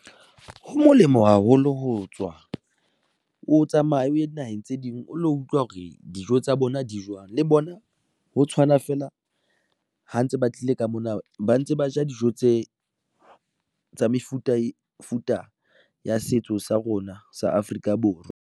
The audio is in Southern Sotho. Ho molemo haholo ho tswa o tsamaye o ye dinaheng tse ding, o lo utlwa hore dijo tsa bona di jwang le bona ho tshwana feela ha ntse ba tlile ka mona, ba ntse ba ja dijo tse tsa mefuta futa ya setso sa rona sa Afrika Borwa.